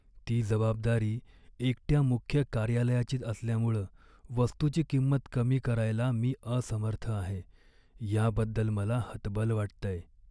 ती जबाबदारी एकट्या मुख्य कार्यालयाचीच असल्यामुळं वस्तूची किंमत कमी करायला मी असमर्थ आहे, याबद्दल मला हतबल वाटतंय.